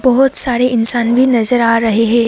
बहुत सारे इंसान भी नजर आ रहे हैं।